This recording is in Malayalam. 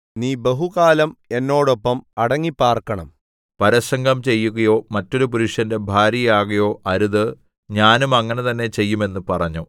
നീ ബഹുകാലം എന്നോടൊപ്പം അടങ്ങിപ്പാർക്കണം പരസംഗം ചെയ്യുകയോ മറ്റൊരു പുരുഷന്റെ ഭാര്യയാകുകയോ അരുത് ഞാനും അങ്ങനെ തന്നെ ചെയ്യും എന്ന് പറഞ്ഞു